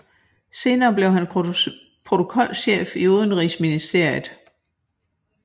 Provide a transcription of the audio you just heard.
Senere blev han protokolchef i Udenrigsministeriet